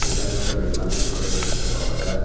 এখানে ওটা দোকানের ফটো দেখতে পাওয়া যান।